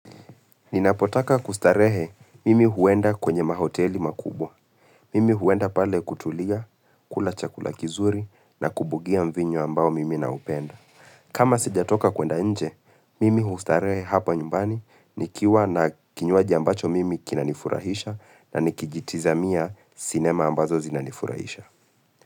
Ninapotaka kustarehe mimi huenda kwenye mahoteli makubwa. Mimi huenda pale kutulia, kula chakula kizuri na kubugia mvinyo ambao mimi na upenda. Kama sijatoka kwenda nje, mimi hustarehe hapa nyumbani, nikiwa na kinywaji ambacho mimi kinanifurahisha na nikijitiza mia sinema ambazo zinanifurahisha.